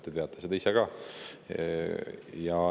Te teate seda ise ka.